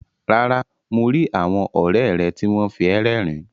Rárá, mo ri àwọn ọrẹ rẹ ti wọn fi ẹ rérìn.